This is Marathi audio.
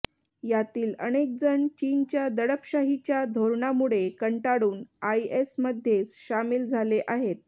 यातील अनेक जण चीनच्या दडपशाहीच्या धोरणामुळे कंटाळून आयएसमध्ये सामील झाले आहेत